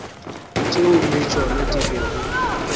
tšeo le tšona di bego